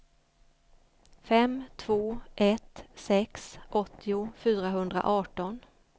fem två ett sex åttio fyrahundraarton